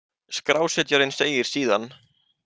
Skrásetjarinn segir síðan